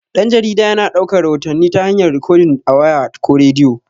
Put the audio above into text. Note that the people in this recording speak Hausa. Dan-jarida yana daukar rahotanni ta hayar rikodin a waya, ko rediyo.